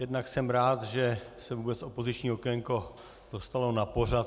Jednak jsem rád, že se vůbec opoziční okénko dostalo na pořad.